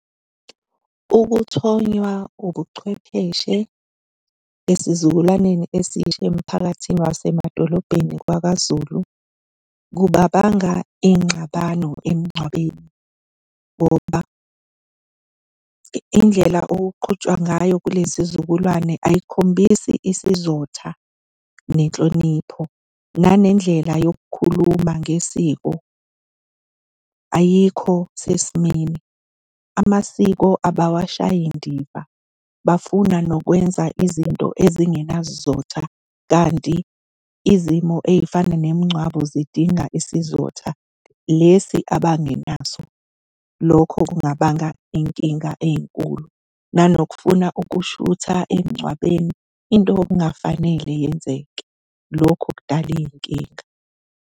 Ukuthonywa ubuchwepheshe esizukulwaneni esisha emphakathini wasemadolobheni wakwaZulu, kungabanga iy'nxabano emngcwabeni ngoba indlela okuqhutshwa ngayo kulesi zukulwane ayikhombisi isizotha nenhlonipho. Nanendlela yokukhuluma ngesiko ayikho sesimweni. Amasiko abawashayi ndiva, bafuna nokwenza izinto ezingenasizotha, kanti izimo ey'fana nemingcwabo idinga isizotha lesi abangenazo. Lokho kungabanga iy'nkinga ey'nkulu. Nanokufuna ukushutha emngcwabeni, into okungafanele yenzeke. Lokho kudala iy'nkinga.